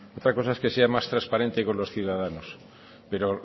otra cosa es que sea más transparente con los ciudadanos pero